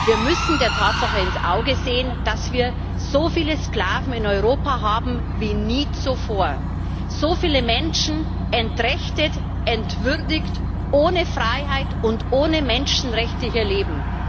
Wir müssen der Tatsache ins Auge sehen, dass wir so viele Sklaven in Europa haben wie nie zuvor, dass so viele Menschen entrechtet, entwürdigt, ohne Freiheit und ohne Menschenrechte hier leben.